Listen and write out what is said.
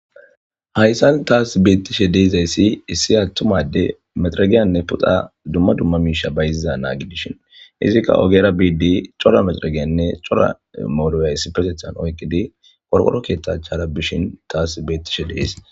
Hayisan ta betashe dizayisi issi atuma adeyyi mexeregiyane duma duma puxa misha bayiziza na'a gidishini izi ogera bushini coira maxaregene cora